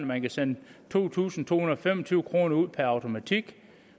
man kan sende to tusind to hundrede og fem og tyve kroner ud per automatik